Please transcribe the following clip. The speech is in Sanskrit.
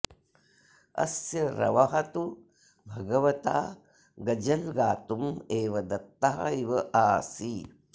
अस्य रवः तु भगवता गज़ल् गातुम् एव दत्तः इव आसीत्